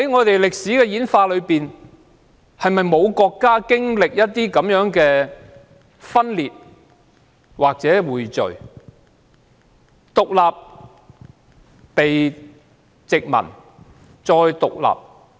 在歷史演化中，是否沒有國家曾經歷分裂或匯聚，或曾經歷獨立、被殖民，然後再獨立？